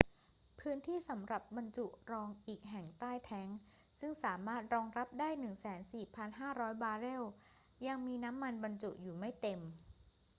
พื้นที่สำหรับบรรจุรองอีกแห่งใต้แทงก์ซึ่งสามารถรองรับได้ 104,500 บาร์เรลยังมีน้ำมันบรรจุอยู่ไม่เต็ม